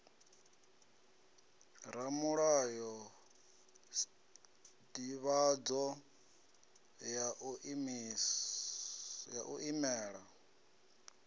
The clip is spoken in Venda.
ramulayo sdivhadzo ya u imela